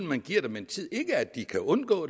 man giver dem tid ikke at de kan undgå